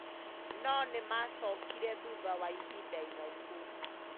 No nĩ maacokirie thutha wa ihinda iraihu.